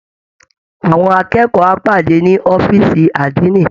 Àwọn akẹ́kọ̀ọ́ á pàdé ni ọ̀fíìsì Àdínì